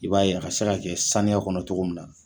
I b'a ye a ka se ka kɛ saniya kɔnɔ cogoya min na